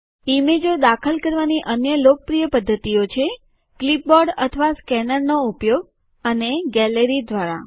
ઈમેજો દાખલ કરવાની અન્ય લોકપ્રિય પદ્ધતિઓ છે ક્લિપબોર્ડ અથવા સ્કેનરનો ઉપયોગ અને ગેલેરી દ્વારા